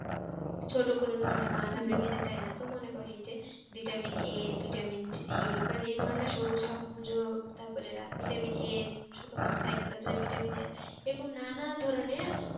ছোট কোনো ধরনের কোনো মাছ আমরা খেতে চাইনা তো মনে করেন এই যে vitamin a vitamin c মানে এই ধরনরে সবুজ তারপরে vitamin a ছোট মাছ খাই না তারজন্য ভিটামিন এ এই রকম নানা ধরণের